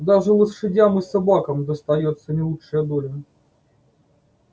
даже лошадям и собакам достаётся не лучшая доля